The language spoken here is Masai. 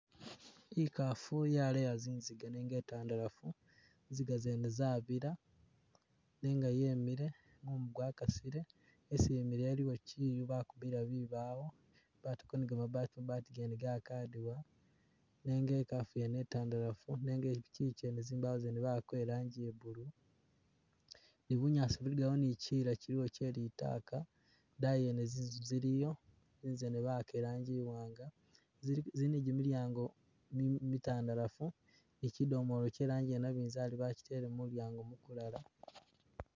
I'kafu yaleya zinziga nenge ntandalafu zinziga zene zabila nenga yemile mumu gwa kasile, isi yimile iliwo chiyu bakubila bibawo batako ni kamabati, mabati kene kakadiwa, nenga e'kafu wene e'tandalafu nenge iliku chiyu chene tsimbawo zene bawagako ni irangi ya blue ni bunyaasi buliwo ni chiyila chiliwo chelitaka, dayi yene zinzu ziliyo, zosizana bawaka e'rangi i'waanga zili zili ni gimilyango mi mitandalafu ni chidomoolo cherangi yenebinzali bachitele mumulyango mumulala